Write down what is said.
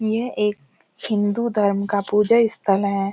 यह एक हिन्दू धर्म का पूजा स्थल है |